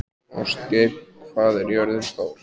Ástgeir, hvað er jörðin stór?